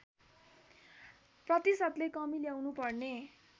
प्रतिशतले कमी ल्याउनुपर्ने